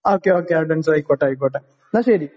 Okay okay advance. ആയിക്കോട്ടെ ആയിക്കോട്ടെ. എന്നാൽ ശരി.